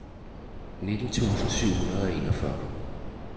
nitten tusind syv hundrede og enogfyrre